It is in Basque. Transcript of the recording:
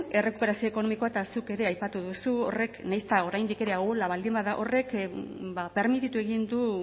errekuperazio ekonomikoa eta zuk ere aipatu duzu horrek nahiz eta oraindik ere ahula baldin bada horrek ba permititu egin du